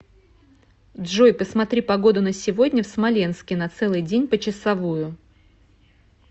джой посмотри погоду на сегодня в смоленске на целый день почасовую